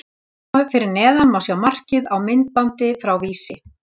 Hér fyrir neðan má sjá markið á myndbandi frá Vísi.